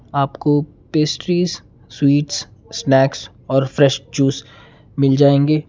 आपको pastries sweets snacks और fresh juice मिल जाएंगे।